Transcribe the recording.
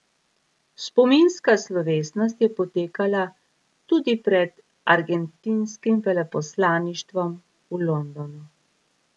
Spominska slovesnost je potekala tudi pred argentinskim veleposlaništvom v Londonu.